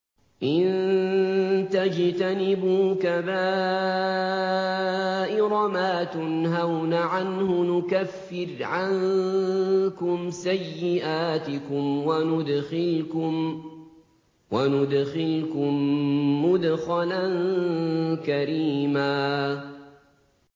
إِن تَجْتَنِبُوا كَبَائِرَ مَا تُنْهَوْنَ عَنْهُ نُكَفِّرْ عَنكُمْ سَيِّئَاتِكُمْ وَنُدْخِلْكُم مُّدْخَلًا كَرِيمًا